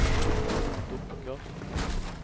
dukker